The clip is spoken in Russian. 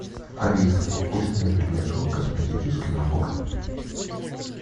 алиса пусть мне принесут косметический набор